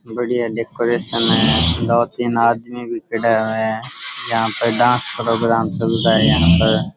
बढ़िया डेकोरेशन है दो तीन आदमी भी खडियो है यह पर डांस प्रोग्राम चल रियो है यहाँ पर --